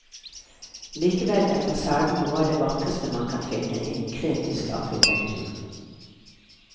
Likevel er fasaden noe av det vakreste man kan finne innen kretisk arkitektur.